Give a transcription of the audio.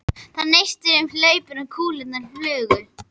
Það neistaði um hlaupin og kúlurnar flugu.